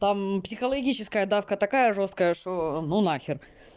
там психологическая давка такая жёсткая что ну нахер